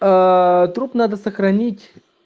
труп надо сохранить